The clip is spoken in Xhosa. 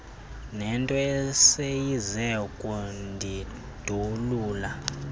nento eseyize kundindulula